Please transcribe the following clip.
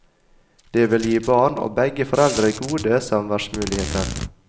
Det ville gi barn og begge foreldre gode samværsmuligheter.